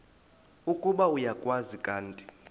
ukuba uyakwazi kanti